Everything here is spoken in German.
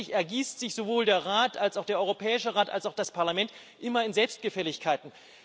Tatsächlich ergießen sich sowohl der Rat als auch der Europäische Rat und auch das Parlament immer in Selbstgefälligkeiten.